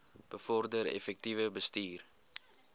bevorder effektiewe bestuur